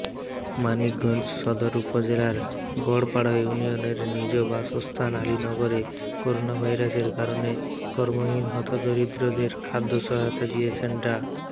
মানিকগঞ্জ সদর উপজেলার গড়পাড়া ইউনিয়নের নিজ জন্মস্থান আলীনগরে করোনাভাইরাসের কারণে কর্মহীন হতদরিদ্রদের খাদ্যসহায়তা দিয়েছেন ডা